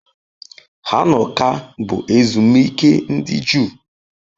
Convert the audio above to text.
Hanukkah bụ ezumike ndị Juu.